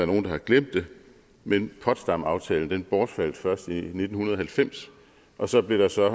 nogle der har glemt det men potsdamaftalen bortfaldt først i nitten halvfems og så blev der så